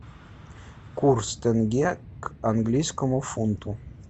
курс тенге к английскому фунту